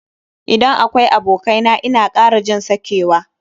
Idan akwai abokai na ina kara jin sakewa.